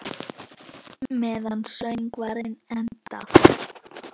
Meðan söngvar endast